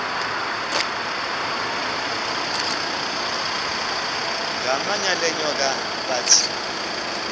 ngamanyal enyoka bathi